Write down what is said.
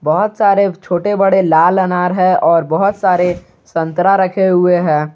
बहुत सारे छोटे बड़े लाल अनार है और बहुत सारे संतरा रखे हुए हैं।